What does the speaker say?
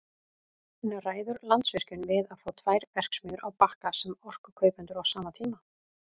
En ræður Landsvirkjun við að fá tvær verksmiðjur á Bakka sem orkukaupendur á sama tíma?